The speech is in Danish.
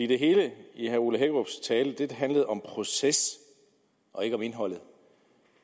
det hele i herre ole hækkerups tale handlede om proces og ikke om indhold